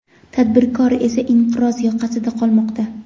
tadbirkor esa inqiroz yoqasida qolmoqda.